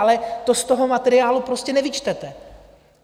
Ale to z toho materiálu prostě nevyčtete.